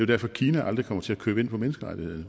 derfor kina aldrig kommer til at købe ind på menneskerettighederne